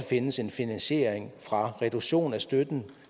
findes en finansiering fra reduktion af støtten